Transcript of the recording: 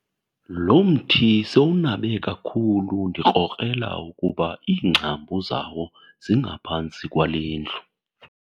Lo mthi sowunabe kakhulu ndikrokrela ukuba iingcambu zawo zingaphantsi kwale ndlu.